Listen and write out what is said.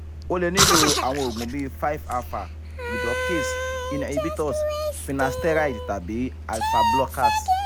o le nilo awon oogun bi five -alpha reductase inhibitorsfinasteride tabi alpha blockers